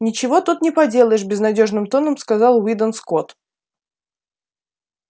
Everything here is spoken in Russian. ничего тут не поделаешь безнадёжным тоном сказал уидон скотт